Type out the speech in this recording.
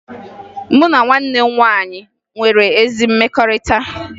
Mụ na nwanne m nwaanyị nwere ezi mmekọrịta